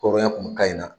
Kɔrɔya kun ka ɲi a